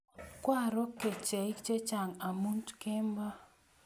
Kwaro kecheik chechang' amut kemboi